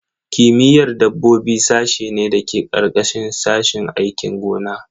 Kimiyyar dabbobi sashe ne da ke ƙarƙashin sashin aikin gona.